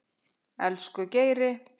Elsku Geiri.